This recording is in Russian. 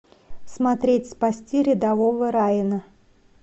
смотреть спасти рядового райана